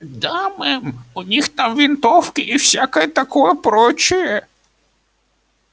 да мэм у них там винтовки и всякое такое прочее